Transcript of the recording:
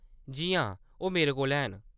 जी हां, ओह् मेरे कोल हैन।